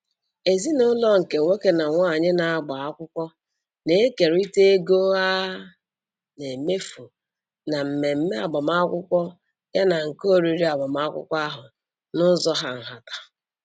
Ezinụlọ nke nwoke na nwaanyị na-agba akwụkwọ na-ekerịta ego a na-emefu na mmemme agbamakwụkwọ yana nke oriri agbamakwụkwọ ahụ n'ụzọ hà nhata.